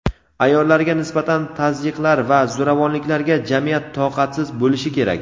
ayollarga nisbatan tazyiqlar va zo‘ravonliklarga jamiyat toqatsiz bo‘lishi kerak.